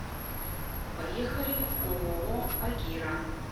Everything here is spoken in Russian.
поехали ооо агира